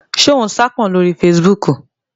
Ṣé o n saápọn lórí fesibúùkù?